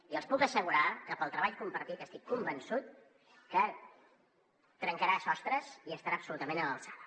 i els puc assegurar que pel treball compartit estic convençut que trencarà sostres i estarà absolutament a l’alçada